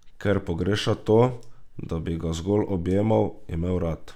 Ker pogreša to, da bi ga zgolj objemal, imel rad.